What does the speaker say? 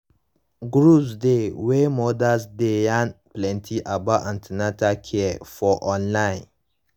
groups dey wey mothers dey yarn plenty about an ten atal care for online